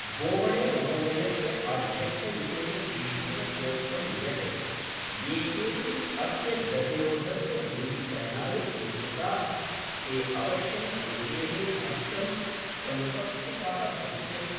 बोबडेमहोदयस्य आध्यक्षयुतेन पीठेन प्रोक्तं यत् ये केऽपि अस्य गतिरोधस्य दूरीकरणाय इच्छुकाः ते अवश्यं समितेः समक्षं समुपस्थिताः भविष्यन्ति।